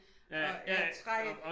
Og af træ